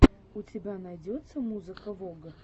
у тебя найдется музыка вог